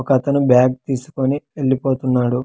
ఒక అతను బ్యాగ్ తీసుకొని వెళ్ళిపోతున్నాడు.